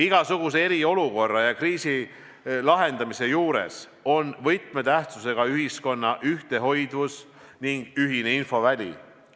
Igasuguse eriolukorra ja kriisi lahendamise juures on võtmetähtsusega ühiskonna ühtehoidvus ning ühine infoväli.